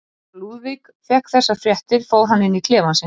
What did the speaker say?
Þegar Lúðvík fékk þessar fréttir fór hann inn í klefann sinn.